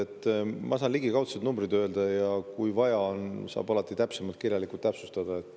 Mina saan öelda ligikaudsed numbrid ja kui vaja on, saab alati kirjalikult täpsustada.